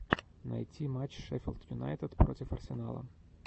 найти матч шеффилд юнайтед против арсенала